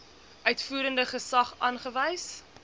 uitvoerende gesag aangewys